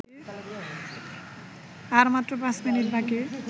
আর মাত্র পাঁচ মিনিট বাকি